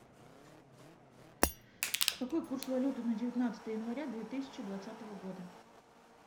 какой курс валюты на девятнадцатое января две тысячи двадцатого года